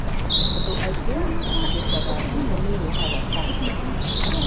Andũ aingĩ nĩ matangĩkaga thimũ nĩirehaga cancer.